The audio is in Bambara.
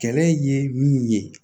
Kɛlɛ ye min ye